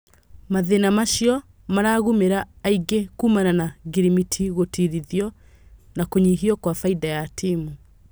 Mathĩna macio maragũmĩra aingĩ kumana na ngirimiti gũtirithio, na kũnyihio kwa faida ya timu.